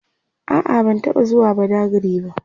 a'a ban taɓa zuwa badagry ba